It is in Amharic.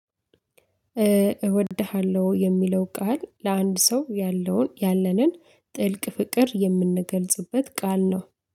እወድሃለሁ የሚለው ቃል ለአንድ ሰው ያለውን ያለንን ጥልቅ ፍቅር የምንገልጽበት ቃል ነው